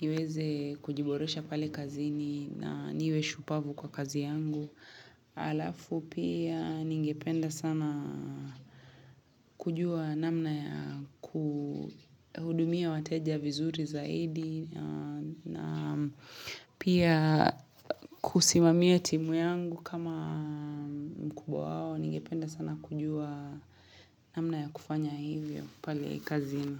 Niweze kujiboresha pale kazini na niwe shupavu kwa kazi yangu Alafu pia ningependa sana kujua namna ya kuhudumia wateja vizuri zaidi na pia kusimamia timu yangu kama mkubwa wao ningependa sana kujua namna ya kufanya hivyo pale kazini.